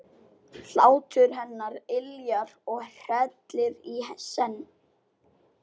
Hlátur hennar yljar og hrellir í senn.